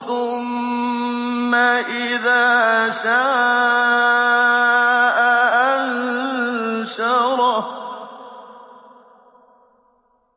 ثُمَّ إِذَا شَاءَ أَنشَرَهُ